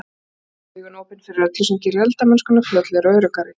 Hafðu augun opin fyrir öllu sem gerir eldamennskuna fljótlegri og öruggari.